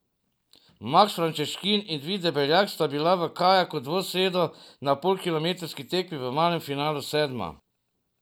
Maks Frančeškin in Vid Debeljak sta bila v kajaku dvosedu na polkilometrski tekmi v malem finalu sedma.